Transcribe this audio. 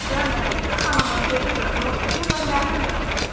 Oxuyan Məhsəti xanımın özüdür, musiqi və nəğmə müəlliməsidir.